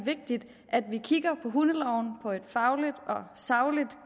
vigtigt at vi kigger på hundeloven på et fagligt og sagligt